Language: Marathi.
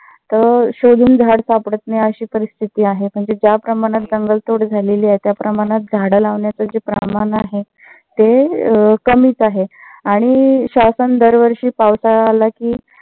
तर शोधून झाडं सापडत नाही. अशी परिस्थिती आहे. म्हणजे ज्या प्रमाणात जंगल तोड झाली आहे. त्या प्रमाणात झाडं लावण्याच जे प्रमाण आहे ते कमीच आहे. आणि शासन दर वर्षी पावसाळा आला कि